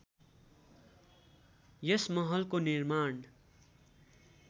यस महलको निर्माण